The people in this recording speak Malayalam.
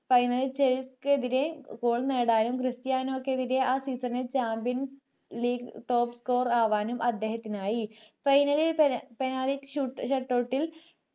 finelist കൾക്ക് എതിരെ goal നേടാനും ക്രിസ്റ്റിയാനോക്കെതിരെ ആ season ൽ champions league top score ർ ആകാനും അദ്ദേഹത്തിനായി final ൽ penalty shootout